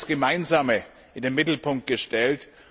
Und Sie haben das Gemeinsame in den Mittelpunkt gestellt.